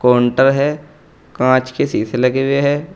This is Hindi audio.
काउंटर है कांच के शीशे लगे हुए हैं।